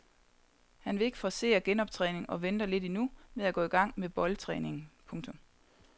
Han vil ikke forcere genoptræningen og venter lidt endnu med at gå i gang med boldtræningen. punktum